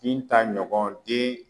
Binta ɲɔgɔn den